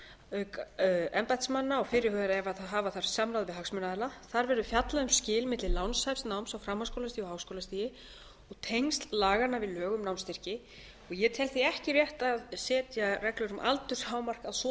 auk embættismanna og fyrirhugað er að hafa þar samráð við hagsmunaaðila þar verður fjallað um skil milli lánshæfs náms á framhaldsskólastigi og háskólastigi og tengsl laganna við lög um námsstyrki ég tel því ekki rétt að setja reglur um aldurshámark að svo